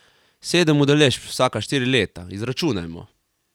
Sedem udeležb, vsaka štiri leta, izračunajmo.